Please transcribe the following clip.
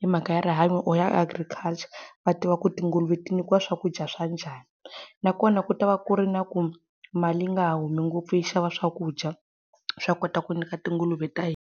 hi mhaka ya rihanyo or ya agriculture, va tiva ku tinguluve ti nyikiwa swakudya swa njhani. Na kona ku ta va ku ri na ku mali nga ha humi ngopfu yi xava swakudya, swa ku kota ku nyika tinguluve ta .